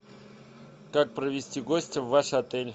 как провести гостя в ваш отель